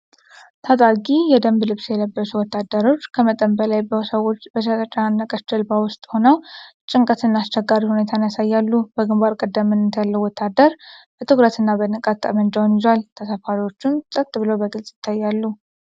ታጣቂ የደንብ ልብስ የለበሱ ወታደሮች፣ ከመጠን በላይ በሰዎች በተጨናነቀች ጀልባ ውስጥ ሆነው ጭንቀትንና አስቸጋሪ ሁኔታን ያሳያሉ። በግንባር ቀደምትነት ያለው ወታደር በትኩረትና በንቃት ጠመንጃውን ይዟል፤ ተሳፋሪዎቹም ፀጥ ብለው በግልጽ ይታያሉ።